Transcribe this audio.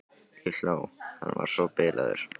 Ég hló, hann var svo bilaður.